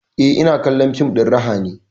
Eh, ina kallon fim ɗin raha ne